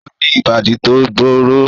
O ni ibadi to gbooro